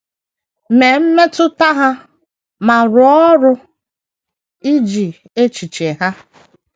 Mee mmetụta ha, ma rụọ ọrụ iji echiche ha.